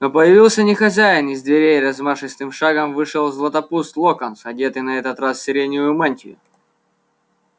но появился не хозяин из дверей размашистым шагом вышел златопуст локонс одетый на этот раз в сиреневую мантию